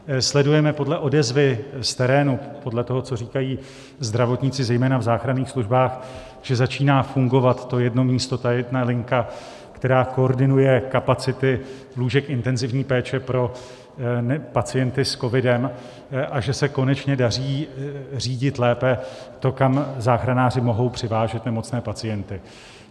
Sledujeme podle odezvy z terénu, podle toho, co říkají zdravotníci zejména v záchranných službách, že začíná fungovat to jedno místo, ta jedna linka, která koordinuje kapacity lůžek intenzivní péče pro pacienty s covidem, a že se konečně daří řídit lépe to, kam záchranáři mohou přivážet nemocné pacienty.